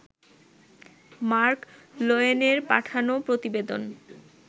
mark লোয়েনের পাঠানো প্রতিবেদন